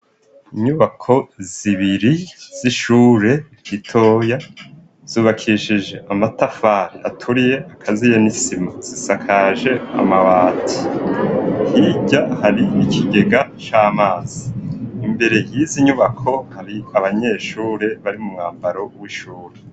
Inyubako zibiri z'ishure ritoya zubakishije amatafari aturiye akaziye n'isima zisakaje amabati, hirya hari ikigega c'amazi, imbere y'izi nyubako hari abanyeshure bari mu mwambaro w'ishure.